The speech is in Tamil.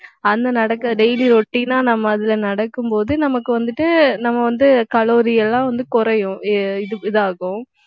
அந்த நடக்க daily routine ஆ நம்ம அதில நடக்கும்போது நமக்கு வந்துட்டு நம்ம வந்து calorie எல்லாம் வந்து குறையும் இ~ இதாகும்